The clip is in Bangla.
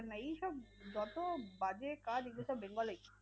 এইসব যত বাজে কাজ এগুলো সব bengal এই।